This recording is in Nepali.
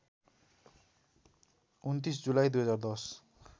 २९ जुलाई २०१०